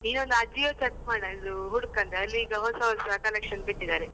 ನೀನು ಒಂದು Ajio check ಮಾಡ ಇದು ಹುಡುಕಂದ್ರೆ ಅಲ್ಲಿ ಈಗ ಹೊಸ ಹೊಸ collections ಬಿಟ್ಟಿದ್ದಾರೆ.